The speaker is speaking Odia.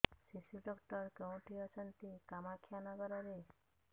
ଶିଶୁ ଡକ୍ଟର କୋଉଠି ଅଛନ୍ତି କାମାକ୍ଷାନଗରରେ